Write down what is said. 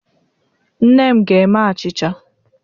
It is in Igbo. Nne m ga-eme achịcha.